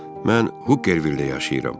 Mən Hukervildə yaşayıram.